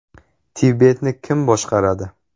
Tibetni kim boshqaradi?